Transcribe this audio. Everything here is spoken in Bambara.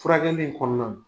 Furakɛli in kɔnɔna na